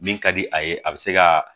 Min ka di a ye a bɛ se ka